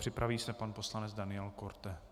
Připraví se pan poslanec Daniel Korte.